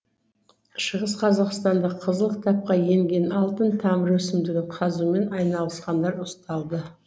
шығыс қазақстанда қызыл кітапқа еңген алтын тамыр өсімдігін қазумен айналысқандар ұсталды